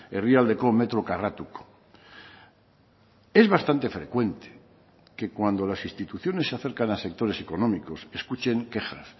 herrialdeko metro karratuko es bastante frecuente que cuando las instituciones se acercan a sectores económicos escuchen quejas